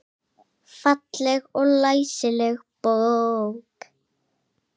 Falleg og læsileg bók.